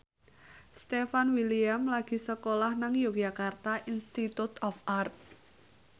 Stefan William lagi sekolah nang Yogyakarta Institute of Art